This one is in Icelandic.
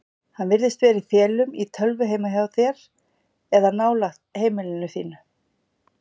Hann virðist vera í felum í tölvu heima hjá þér eða nálægt heimili þínu.